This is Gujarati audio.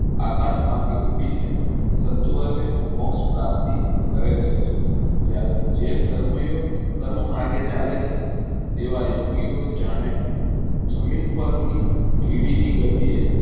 આકાશ માર્ગે ઉડી ને ફંતવરો મોક્ષ પ્રાપ્તિ કરેલી હોય છે જયારે જે કર્મ યોગ કર્મ માર્ગે ચાલે છે એવા યોગી ઓ જાણે જમીન પર ની કીડી ની ગતિ એ